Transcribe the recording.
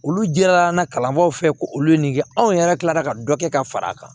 Olu jirala an na kalanbaaw fɛ ko olu ye nin kɛ anw yɛrɛ tilala ka dɔ kɛ ka fara a kan